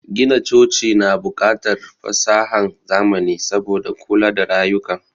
Gina coci na bukatar fasahan zamani saboda kula da rayuka